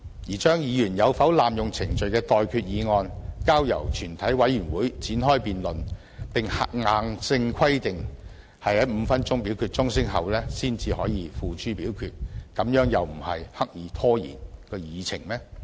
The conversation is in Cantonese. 把議員有否濫用程序的待決議案交由全委會展開辯論，並硬性規定在5分鐘表決鐘聲後才可付諸表決，難道又不是刻意拖延議程嗎？